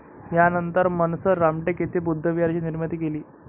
यानंतर मनसर, रामटेक येथे बुद्धविहाराची निर्मिती केली.